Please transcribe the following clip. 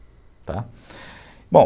Tá, bom...